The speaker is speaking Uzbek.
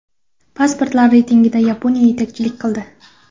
Pasportlar reytingida Yaponiya yetakchilik qildi.